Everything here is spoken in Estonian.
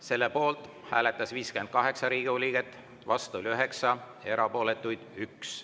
Selle poolt hääletas 58 Riigikogu liiget, vastu 9 ja erapooletuid oli 1.